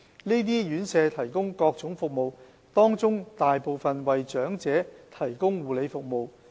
這些院舍提供各種服務，當中大部分為長者提供護理服務。